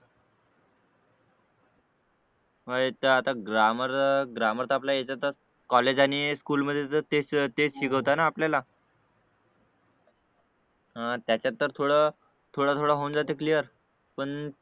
मग याचा आता ग्रामर ग्रामर तर आपला याच्यात कॉलेज आणि स्कूल मध्ये तर तेच तेच शिकवते ना आपल्याला हा त्याच्यात तर थोडं थोडं होऊन जाते क्लियर पण